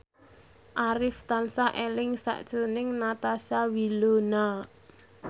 Arif tansah eling sakjroning Natasha Wilona